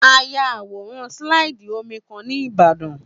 A ya àwòrán sílàìdì omi kan ní Ìbàdàn